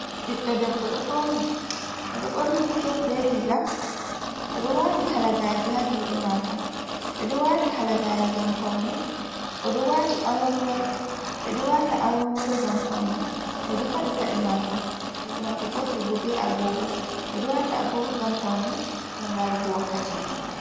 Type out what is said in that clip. Ɓiɗɗo debbo ɗo fauni oɗo ɓorni skete be riga, oɗo wati halagaje ha juɗe mako, ɓeɗo wata halagare ngam paune, oɗo wati awarworo, ɓe ɗo wata awarworo ngam paune, oɗo fadi pade mako, juɗe mako gotel bo be agogo, ɓeɗo wata agogo ngam paune, ngam larugo wakkati.